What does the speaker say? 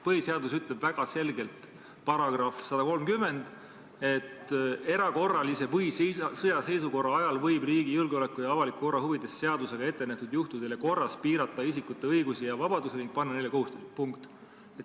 Põhiseaduse § 130 ütleb väga selgelt: "Erakorralise või sõjaseisukorra ajal võib riigi julgeoleku ja avaliku korra huvides seadusega ettenähtud juhtudel ja korras piirata isikute õigusi ja vabadusi ning panna neile kohustusi.